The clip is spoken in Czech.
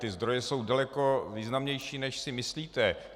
Ty zdroje jsou daleko významnější, než si myslíte.